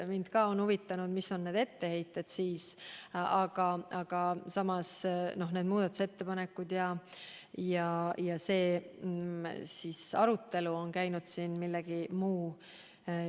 Mind on huvitanud, mis on etteheited, aga muudatusettepanekud ja arutelu on koondunud siin millelegi muule.